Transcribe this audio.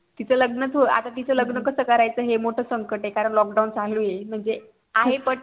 तीच लग्न च आता तीच लग्न च कसं करायचा हे मोठ संकट ये कारण lockdown चालू ये म्हणजे आहे but